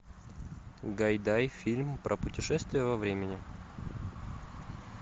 гайдай фильм про путешествие во времени